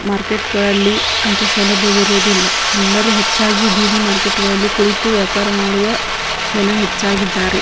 Market ಗಳಲ್ಲಿ ಅಂತ ಸೌಲಭ್ಯ ಇರುವುದಿಲ್ಲ ಎಲ್ಲರು ಹೆಚ್ಚಾಗಿ ಬೀದಿ ಮಾರ್ಕೆಟ್ ಗಳಲ್ಲಿ ಕುಳಿತು ವ್ಯಾಪಾರ ಮಾಡುವ ಜನ ಹೆಚ್ಚಾಗಿದ್ದಾರೆ .